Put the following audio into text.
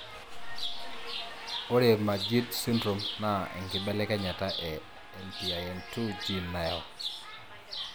Ore Majeed sydrome na enkibelekenyata e LPIN2 gene nayau.